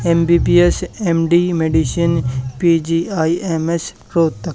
MBBS MD medicine PGIMS Rohtak.